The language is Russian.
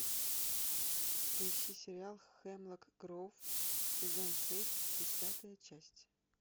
поищи сериал хемлок гроув сезон шесть десятая часть